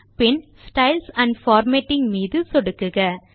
bin styles and formatting மீது சொடுக்குக